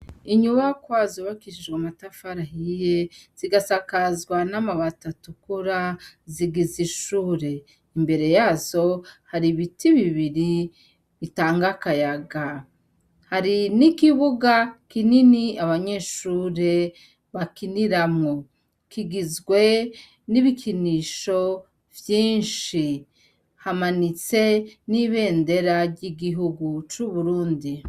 Inyubakwa s’ybakishijwe amatafari ahiye zigasakazwa n'amabati atukura zigizishure imbere yazo hari ibiti bibiri bitangakayaga hari n'ikibuga kinini abanyeshure bakiniramwo kigizwe n'ibikinisho vyinshi hamanitse n'ibendera ry'igihugu c'uburundi.